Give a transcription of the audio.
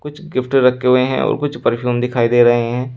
कुछ गिफ्ट रखे हुए हैं और कुछ परफ्यूम दिखाई दे रहे हैं।